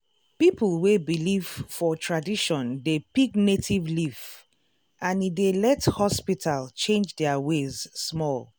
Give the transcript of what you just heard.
people wey believe for tradition dey pick native leaf and e dey let hospital change their ways small.